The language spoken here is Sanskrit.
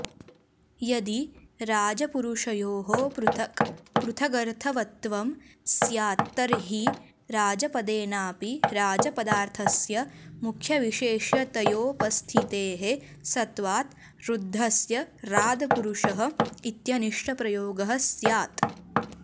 यदि राजपुरुषयोः पृथक् पृथगर्थवत्त्वं स्यात्तर्हि राजपदेनापि राजपदार्थस्य मुख्यविशेष्यतयोपस्थितेः सत्वात् ऋद्धस्य रादपुरुषः इत्यनिष्टप्रयोगः स्यात्